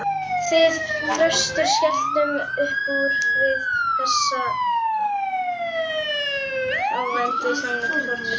Við Þröstur skelltum uppúr við þessa óvæntu samlíkingu, Þórður